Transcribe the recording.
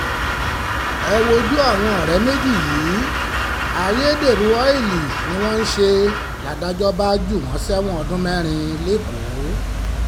ẹ wojú àwọn ọ̀rẹ́ méjì yìí ayédèrú ọ́ìlì ni wọ́n ń ṣe um ládàjọ́ bá jù wọ́n sẹ́wọ̀n ọdún mẹ́rin lẹ́kọ̀ọ́ um